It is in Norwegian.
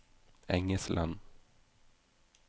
Engesland